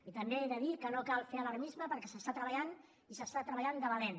i també he de dir que no cal fer alarmisme perquè s’està treballant i s’està treballant de valent